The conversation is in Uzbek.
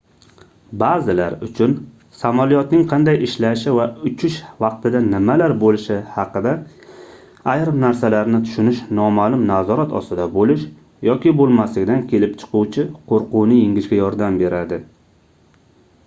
baʼzilar uchun samolyotning qanday ishlashi va uchish vaqtida nimalar boʻlishi haqida ayrim narsalarni tushinish nomaʼlum nazorat ostida boʻlish yoki boʻlmaslikdan kelib chiquvchi qoʻrquvni yengishga yordam beradi